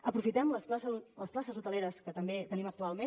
aprofitem les places hoteleres que també tenim actualment